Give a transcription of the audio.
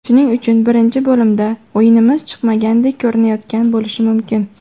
Shuning uchun birinchi bo‘limda o‘yinimiz chiqmagandek ko‘rinayotgan bo‘lishi mumkin.